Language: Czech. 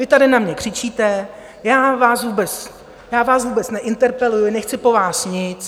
Vy tady na mě křičíte, já vás vůbec neinterpeluji, nechci po vás nic...